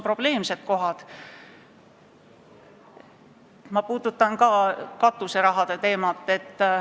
Minagi puudutan katuserahade teemat.